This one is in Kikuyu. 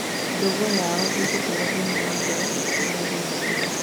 Ndũgũ yao ĩgũtũra thĩinĩ wa ngoro ciitũ mĩndĩ na mĩndĩ.